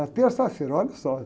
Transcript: Era terça-feira, olha só.